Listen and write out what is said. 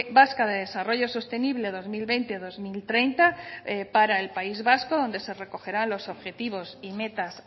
vasca de desarrollo sostenible dos mil veinte dos mil treinta para el país vasco donde se recogerá los objetivos y metas